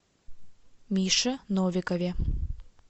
мише новикове